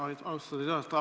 Aitäh, austatud juhataja!